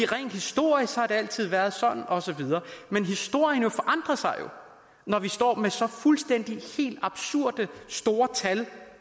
rent historisk har det altid været sådan og så videre men historien forandrer sig jo når vi står med så fuldstændig absurd store tal